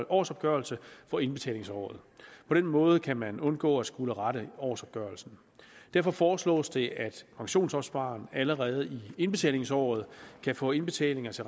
årsopgørelse for indbetalingsåret på den måde kan man undgå at skulle rette årsopgørelsen derfor foreslås det at pensionsopspareren allerede i indbetalingsåret kan få indbetalinger til